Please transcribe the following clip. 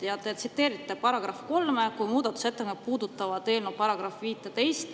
Ja te tsiteerisite § 3, kuigi muudatusettepanekud puudutavad eelnõu § 15.